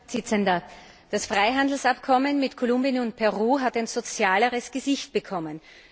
Herr Präsident! Das Freihandelsabkommen mit Kolumbien und Peru hat ein sozialeres Gesicht bekommen.